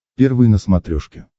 первый на смотрешке